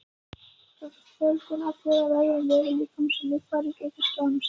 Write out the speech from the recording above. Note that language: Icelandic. Fjöldinn allur af öðrum vefjum líkamans og líffærum getur skemmst.